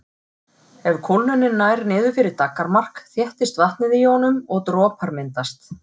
Ef kólnunin nær niður fyrir daggarmark þéttist vatnið í honum og dropar myndast.